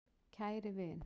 KÆRI vin.